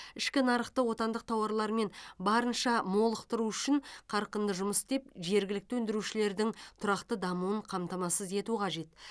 ішкі нарықты отандық тауарлармен барынша молықтыру үшін қарқынды жұмыс істеп жергілікті өндірушілердің тұрақты дамуын қамтамасыз ету қажет